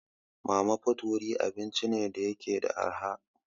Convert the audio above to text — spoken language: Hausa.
Mama put wurin abinci ne da yake da arha.